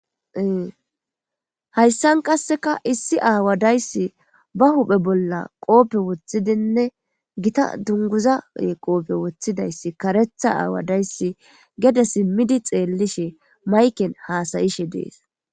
Haysan qaseka issi awa daysi ba huphe bola gita dunguza qofe wothidaysi karetha awa daysi gede simidi xelishe mayken hasayishe des